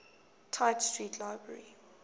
tite street library